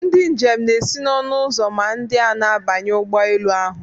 Ndị njem na-esi n'ọnụ ụzọ ma ndị a na-abanye ụgbọ elu ahụ.